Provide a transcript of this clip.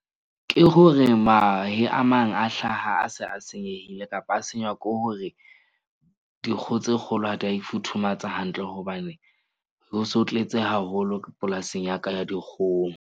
Ke hore mahe a mang a hlaha, a se a senyehile, kapa a senywa ke hore dinkgo tse kgolo ha di a futhumatsa hantle. Hobane ho se ho tletse haholo polasing ya ka ya .